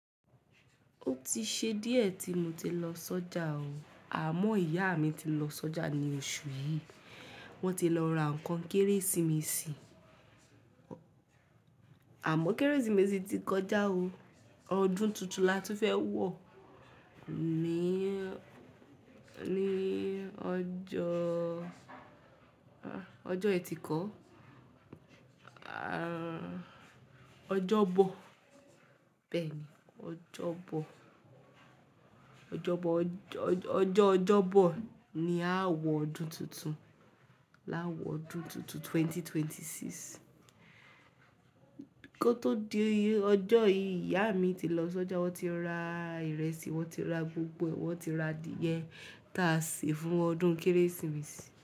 Ó ti ṣe díẹ̀ tí mo ti lọ sọ́jà o. Àmọ́ ìyá mi ti lọ sọ́jà ní oṣù yìí. Wọ́n ti lọ ra ǹkan Kérésìmesì. Àmọ́ Kérésìmesì ti kọjá o. Ọdún tuntun la tún fẹ́ wọ̀. Ni, ni ọjọ́, ọjọ́ ẹtì kọ́. Ọjọ́bọ̀. Bẹ́ẹ̀ni. Ọjọ́bọ̀. Ọjọ́bọ̀, ọjọ́, ọjọ́, ọjọ́ Ọjọ́bọ̀ ni a ó wọ ọdún tuntun. La á wọ ọdún tuntun 2026. Kó tó di ọjọ́ yìí, ìyá mi ti lọ s'ọ́jà. Wọ́n ti ra ìrẹsì, wọ́n ti ra gbogbo ẹ̀, wọ́n ti ra adìyẹ táa sè fún ọdún Kérésìmesì.